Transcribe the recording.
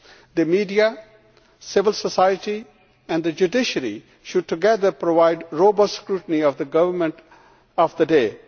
The media, civil society and the judiciary should together provide robust scrutiny of the government of the day.